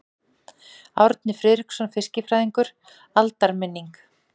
Árni Friðriksson fiskifræðingur: Aldarminning.